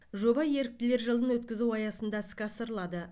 жоба еріктілер жылын өткізу аясында іске асырылады